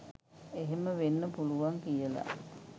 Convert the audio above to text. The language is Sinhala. එහෙම වෙන්න පුළුවන් කියලා.